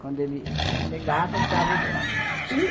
Quando ele ele chegava, ele dava o bolo e